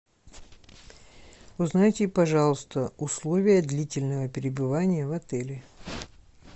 узнайте пожалуйста условия длительного пребывания в отеле